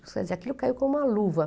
Quer dizer, aquilo caiu como uma luva.